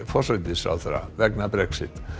forsætisráðherra vegna Brexit